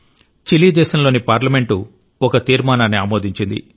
Chile దేశంలోని parliament ఒక తీర్మానాన్ని ఆమోదించింది